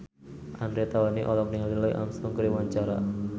Andre Taulany olohok ningali Louis Armstrong keur diwawancara